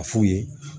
A f'u ye